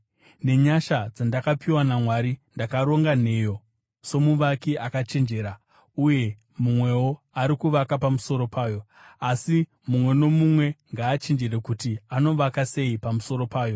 Nenyasha dzandakapiwa naMwari, ndakaronga nheyo somuvaki akachenjera, uye mumwewo ari kuvaka pamusoro payo. Asi mumwe nomumwe ngaachenjere kuti anovaka sei pamusoro payo.